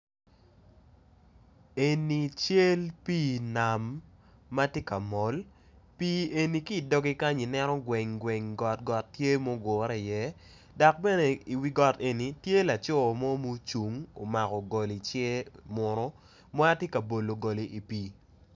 Eni cal pi nam matye ka mol pi eni kidoge kenyo ineno gweng gweng got got tye ma ogure i ye dok bene i wi got eni tye lacoo mo ma ocung omako gol icung tye munu matyeka bolo goli i pi.